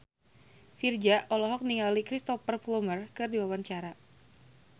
Virzha olohok ningali Cristhoper Plumer keur diwawancara